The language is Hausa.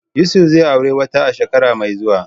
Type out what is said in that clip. Yusuf zai auri wata a shekara mai zuwa.